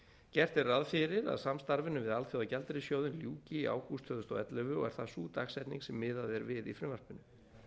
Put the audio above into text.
gert er ráð fyrir að samstarfinu við alþjóðagjaldeyrissjóðinn ljúki í ágúst tvö þúsund og ellefu og er það sú dagsetning sem miðað er við í frumvarpinu